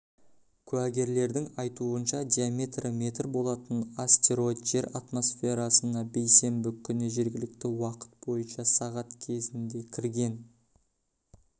куәгерлердің айтуынша диаметрі метр болатын астероид жер атмосферасына бейсенбі күні жергілікті уақыт бойынша сағат кезінде кірген